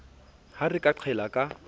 ha re ka qhella ka